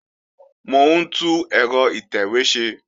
Mò ń tún ẹ̀rọ ìtẹ̀wé ṣe